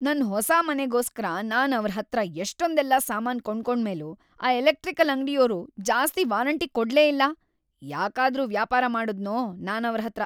ನನ್ ಹೊಸ ಮನೆಗೋಸ್ಕರ ನಾನ್ ಅವ್ರ್‌ ಹತ್ರ ಎಷ್ಟೊಂದೆಲ್ಲ ಸಾಮಾನ್‌ ಕೊಂಡ್ಕೊಂಡ್ಮೇಲೂ ಆ ಎಲೆಕ್ಟ್ರಿಕಲ್‌ ಅಂಗ್ಡಿಯೋರು ಜಾಸ್ತಿ ವಾರಂಟಿ ಕೊಡ್ಲೇ ಇಲ್ಲ. ಯಾಕಾದ್ರೂ ವ್ಯಾಪಾರ ಮಾಡುದ್ನೋ ನಾನ್‌ ಅವ್ರ್‌ ಹತ್ರ!